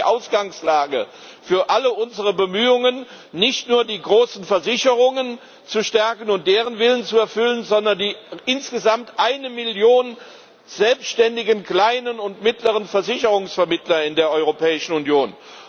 Das war die Ausgangslage für alle unsere Bemühungen nicht nur die großen Versicherungen zu stärken und deren Willen zu erfüllen, sondern die insgesamt eine Million selbständigen kleinen und mittleren Versicherungsvermittler in der Europäischen Union.